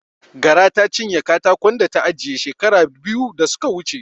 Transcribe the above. Gara ta cinye katakon da ta ajiye shekara biyu da suka wuce.